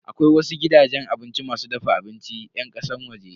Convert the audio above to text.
Akwai wasu gidajen abinci masu dafa abincin yan kasan waje.